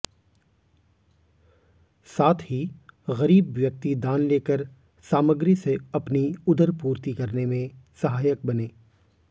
साथ ही गरीब व्यक्ति दान लेकर सामग्री से अपनी उदरपूर्ति करने में सहायक बने